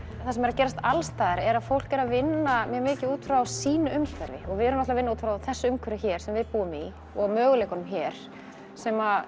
það sem er að gerast alls staðar er að fólk er að vinna mjög mikið út frá sínu umhverfi og við erum að vinna út frá þessu umhverfi hér sem við búum í og möguleikum hér sem